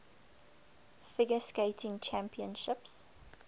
figure skating championships